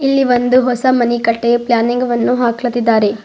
ಈ ಒಂದು ಹೊಸ ಮನೆಕಟ್ಟಲು ಪ್ಲಾನಿಂಗ್ ವನ್ನು ಅಕ್ಲಾತಿದ್ದಾರೆ.